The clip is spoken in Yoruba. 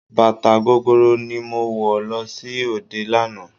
Bàtà gogoro ni mo wọ̀ lọ sí òde lánàá.